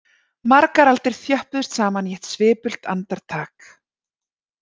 Margar aldir þjöppuðust saman í eitt svipult andartak